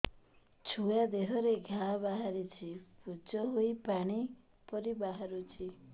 ଛୁଆ ଦେହରେ ଘା ବାହାରିଛି ପୁଜ ହେଇ ପାଣି ପରି ବାହାରୁଚି